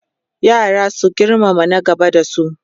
yara su girmama na gaba da su